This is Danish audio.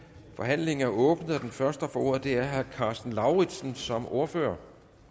forhandlingen er åbnet den første der får ordet er herre karsten lauritzen som ordfører